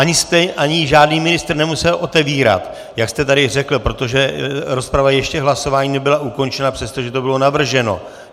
Ani žádný ministr nemusel otevírat, jak jste tady řekl, protože rozprava ještě k hlasování nebyla ukončena, přestože to bylo navrženo.